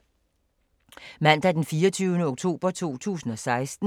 Mandag d. 24. oktober 2016